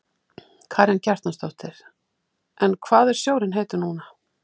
Karen Kjartansdóttir: En hvað er sjórinn heitur núna?